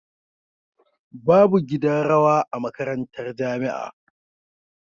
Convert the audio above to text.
Babu gidan rawa a makarantar jamia